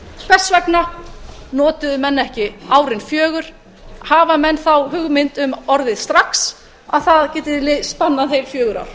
hvers vegna notuðu menn ekki árin fjögur hafa menn þá hugmynd um orðið strax að það geti spannað heil fjögur ár